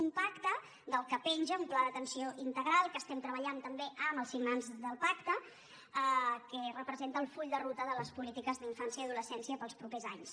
un pacte del qual penja un pla d’atenció integral que estem treballant també amb el signants del pacte que representa el full de ruta de les polítiques d’infància i adolescència per als propers anys